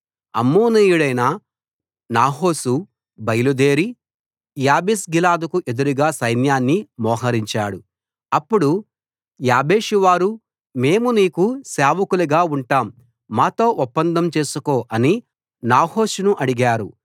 అమ్మోనీయుడైన నాహాషు బయలుదేరి యాబేష్గిలాదుకు ఎదురుగా సైన్యాన్ని మోహరించాడు అప్పుడు యాబేషువారు మేము నీకు సేవకులుగా ఉంటాం మాతో ఒప్పందం చేసుకో అని నాహాషును అడిగారు